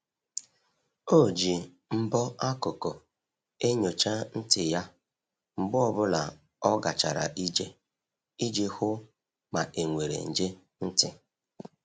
O ji mbọ akụkụ enyocha ntị ya mgbe ọ bụla o gachara ije iji hụ ma e nwere nje ntị.